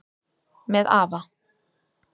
Með afa